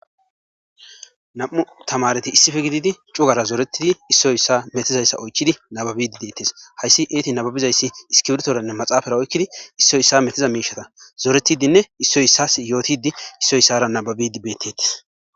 Nam'u tamaretti issippe giddidi uggara zoretii issoy issuwara metizayssa ochchidi nabbibidi de'etees.hayssi izetti nabbabizayssi iskirftoranne maxafera oykkidi issoy issuwa mettiza mishata zorretidinne issoy issuwas yottidinne issoy issuwara nabbabidi bettetes.